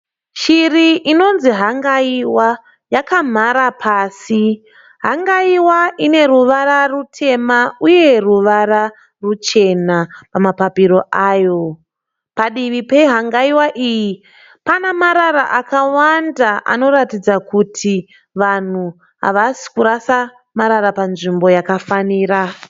Shiri inonzi hangaiwa yakamhara pasi. Hangaiwa ine ruvara rutema uye ruvara ruchena pamapapiro ayo. Padivi pehangaiwa iyi pana marara akawanda anoratidza kuti vanhu havasi kurasa marara panzvimbo yakafanira.